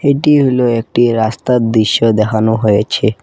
এটি হইল একটি রাস্তার দিশ্য দেহানো হয়েছে।